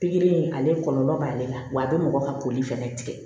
Pikiri in ale kɔlɔlɔ b'ale la wa a bɛ mɔgɔ ka koli fɛnɛ tigɛ